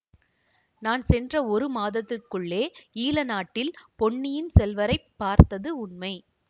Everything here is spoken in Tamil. நான் சென்ற ஒரு மாதத்துக்குள்ளே ஈழநாட்டில் பொன்னியின் செல்வரைப் பார்த்தது உண்மை